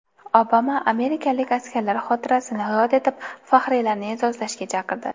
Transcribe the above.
Obama amerikalik askarlar xotirasini yod etib, faxriylarni e’zozlashga chaqirdi.